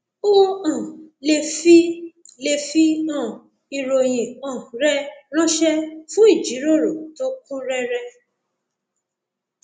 o um lè fi lè fi um ìròyìn um rẹ ránṣẹ fún ìjíròrò tó kún rẹrẹ